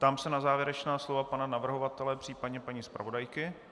Ptám se na závěrečná slova pana navrhovatele, případně paní zpravodajky.